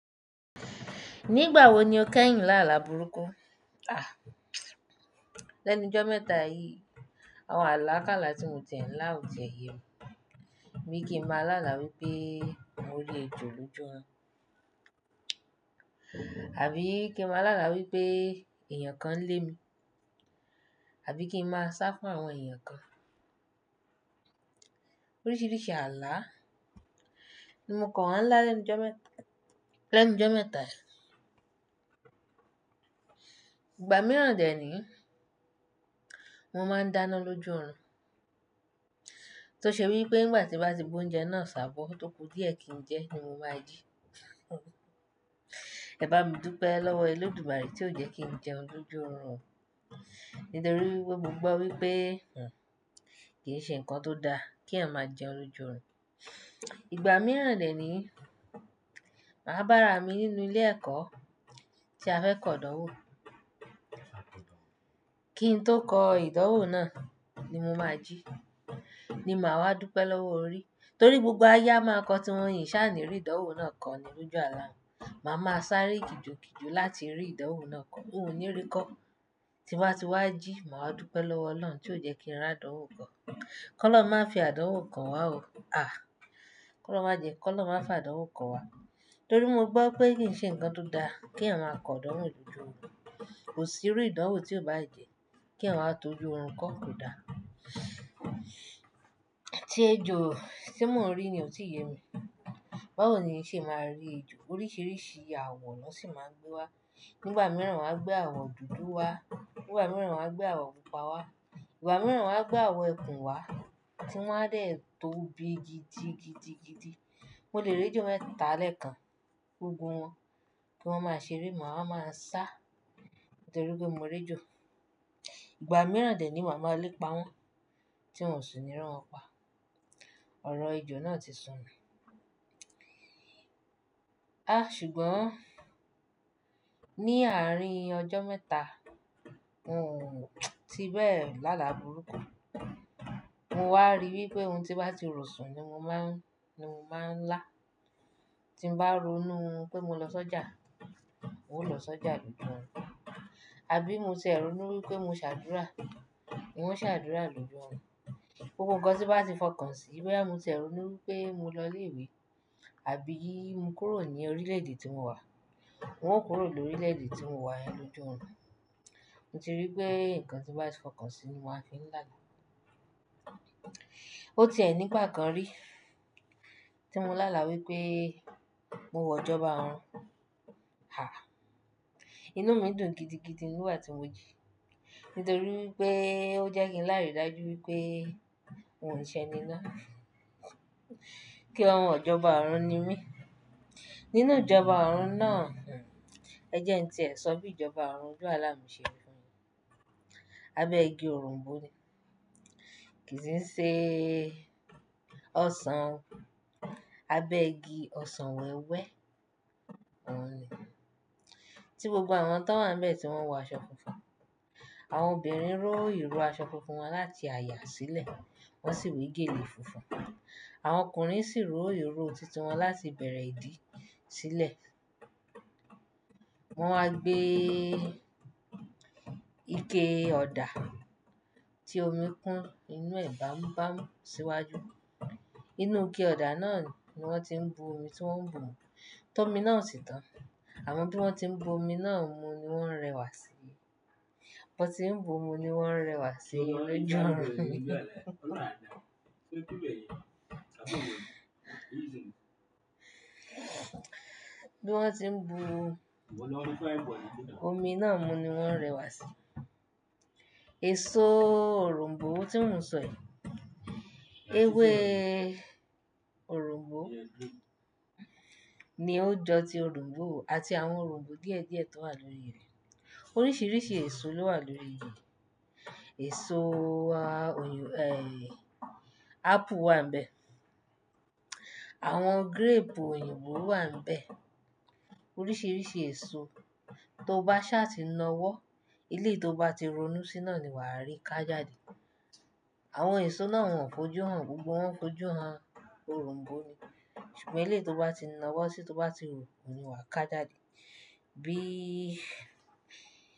Nígbà wo ni o kẹ́yìn láàlá burúkú? Lẹ́nu jọ́ mẹ́ta yìí, àwọn àlákálà tí mo tẹ̀ ń lá ò tẹ̀ yẹ mi. Bi kìn máa láàlá wípé mo rí ejò lójú orun Àbí kí ń máa láàlá wípé èèyàn kan lé mi. Àbí kí ń máa sá fún àwọn èèyàn kan. Oríṣiríṣi àlá ni mo kan láa lẹ́nu jọ́ mẹ́ta, lẹ́nu jọ́ mẹ́ta yìí. Ìgbà mìíràn dè ní, mo máa ń dáná lójú orun Tó ṣe wípé nígbà tí bá ti gbe oúnjẹ náà ṣàbọ́ tóku díẹ̀ kí n jẹ ni mo máa jí. Ẹ bá mi dúpẹ́ lọ́wọ́ ẹledumare tí ó jẹ́ kí n jẹun lójú orun Nítorí wípé gbogbo wípé, hmmm, kì í ṣe ǹkan tó dá kí èèyàn máa jẹun lójú orun Ìgbà mìíràn dè níyi, màá bára mi nínú ilé ẹ̀kọ́ tí a fẹ́ kọ ìdánwò. Kí n tó kọ ìdánwò náà ni mo máa jí, ni màá wá dúpẹ́ lọ́wọ́ orí. Torí gbogbo ayé a máa kọ tí wọ́n yìn ṣá ní rí ìdánwò náà kọ́ ni lójú àláa mi. Màá máa sáré kijo kijo láti rí ìdánwò náà kọ́. Hun ni rí kọ́ tí wá ti wá jí, màá dúpẹ́ lọ́wọ́ Ọlọ́run tí ó jẹ́ kí n rí àdánwò kò Ki Olorun má fi àdánwò kan wá o. Kọ́ ọlọrun má jẹ́, kọ́ ọlọrun má fi àdánwò kan wá. Torí mo gbọ́ pé kì í ṣe ǹkan tó dá kí èèyàn máa kọ ìdánwò lójú ọ̀n. Kò sí irú ìdánwò tí ó bá jẹ́ kí èèyàn wá tó ojú òrun kọ́ ò dá. Ti ẹjò, tí mọ̀ rí ni ò tí ì yẹ mi. Báwo ni ṣe máa rí ejò? Oríṣiríṣi awọ ní o sì máa mu wá. Nígbà mìíràn wọ́n á gbé àwọ̀ dúdú wá, nígbà mìíràn wọ́n á gbé àwọ̀ pupa wá, ìgbà mìíràn wọ́n á gbé àwọ̀ ẹkùn wá tí wọ́n á dẹ̀ tóbi gidi gidi gidi. Mo lè rí ejò mẹ́ta lẹ́ẹ̀kan gbogbo wọn kí wọ́n máa ṣere mà máa ń sá nítorí pé mo rí ejò. Ìgbà mìíràn dè ni màá ma lépa wọ́n tí n ò sì ní rán wọn pa. Ọ̀rọ̀ ejò náà ti sọnù mi ṣùgbọ́n ní àárín ọjọ́ mẹ́ta, oun ti bẹ́ẹ̀ láàlá burúkú. Mo wá rí wípé ohun tí bá ti rọ̀ sùn ni mo máa ń, ni mo máa ń lá. Tí n bá ronú pé mo lọ sọ́jà, mo ó lọ sọ́jà lójú ọ̀run. Àbí mo te ronú wípé mo ṣàdúrà, n ó ṣàdúrà lójú ọ̀run. Gbogbo unkan tí bá ti fọkàn sí i, boya ronú wípé mo lọ ilé ìwé, àbí mo kúrò ní orílẹ̀dè tí mo wà, òun kúrò lórílẹ̀dè tí mo wà yẹn lójú ọ̀run. Nitorípé ǹkan tí bá ti fọkàn sí i ni mo máa fiń làa. O ti è nígbà kan rí tí mo láàlá wípé mo wọ̀ ọjọ́ba Ọrùn. Inú mi dùn gidi gidi nígbà tí mo jí nítorí wípé ó jẹ́ kí n láìrí dájú wípé òun ṣe ní ná. Kí ọmọ ọ̀jọ̀ba ọrùn ni mí. Nínú ìjọba ọrùn náà, ẹjẹ́ kin tìẹ̀ sọ bí ìjọba ọrùn oju àláa mi ṣe rí. Abẹ́ igi oronbo ni. Kì í ṣe ọsàn. Abẹ́ igi ọsàn wẹ́wẹ́ ọ̀n ni tí gbogbo àwọn tan wà níbẹ̀ tí wọ́n wọ aṣọ funfun. Àwọn obìnrin ró ìró aṣọ funfun wọn láti àyà sílẹ̀, wọ́n sì we gèlè funfun. Àwọn ọkùnrin sì ró ìró tít wọn láti bẹ̀rẹ̀ ìdí sílẹ̀. Wọ́n wá gbé ike ọ̀dà tí omi kun inú ẹ̀ bamu bamu síwájú. Inú ike ọ̀dà náà ni wọ́n ti ń bu omi tí wọ́n ń bu mu Tọ́mi náà o sì tán. Àmọ́ bí wọ́n ti ń bu omi náà mú ni wọ́n rẹwà sí. Wọ́n ti ń bu omi ní wọ́n rẹwà sí loju mi Bí wọ́n ti ń bu omi náà mú ni wọ́n rẹwà sí. Èso oronbó tí mò ń sọ yìí. Ewe orunbo ni ó jọ ti orunbo àti àwọn orùnbo díẹ̀ díẹ̀ tó wà lórí rẹ̀. Oríṣiríṣi èso ló wà lórí rẹ̀. Èso oyin, ẹ́, Apple wà níbẹ̀. Àwọn gírẹ́ẹ̀pù òyìnbó wà níbẹ̀. Oríṣiríṣi èso. Tó bá ṣá ti ń na ọ́wọ́, ilé tó bá ti ronú síná ni wà á rí ká jáde. Àwọn èso náà wọ́n fọjú hàn, gbogbo wọn fọjú hàn. Òrùn bó ni. Ṣùgbọ́n ilé tó bá ti na ọ́wọ́ sí tó bá wu ni wà á ká jáde. Bí.